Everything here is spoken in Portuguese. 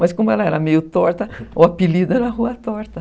Mas como ela era meio torta, o apelido era Rua Torta.